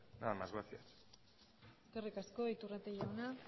nada más gracias eskerrik asko iturrate jauna